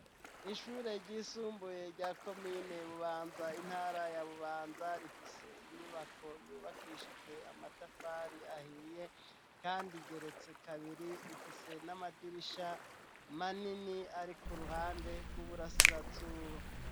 Ishure ryisumbuye rya Komine Bubanza intara ya Bubanza, rifise inyubako yubakishijwe amatafari ahiye kandi igeretse kabiri, ifise n'amadirisha manini ari ku ruhande bw'uburasirazuba.